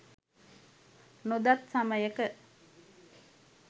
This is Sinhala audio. නොදත් සමයක